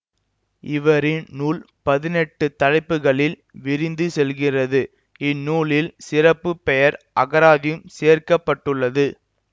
இவரின் நூல் பதினெட்டு தலைப்புக்களில் விரிந்து செல்கிறது இந்நூலில் சிறப்பு பெயர் அகராதியும் சேர்க்க பட்டுள்ளது